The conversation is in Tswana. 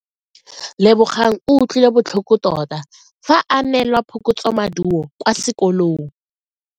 Lebogang o utlwile botlhoko tota fa a neelwa phokotsomaduo kwa sekolong.